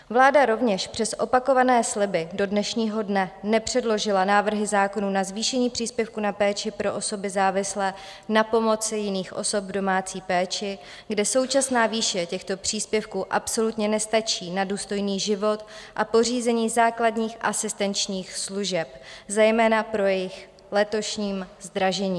Vláda rovněž přes opakované sliby do dnešního dne nepředložila návrhy zákonů na zvýšení příspěvku na péči pro osoby závislé na pomoci jiných osob v domácí péči, kde současná výše těchto příspěvků absolutně nestačí na důstojný život a pořízení základních asistenčních služeb, zejména po jejich letošním zdražení.